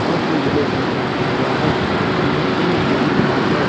और जो yellow colour से लिखा गया है उसके लेफ्ट में मोदी निवास है।